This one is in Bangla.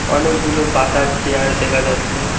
অনেকগুলো বাতার চেয়ার দেখা যাচ্ছে।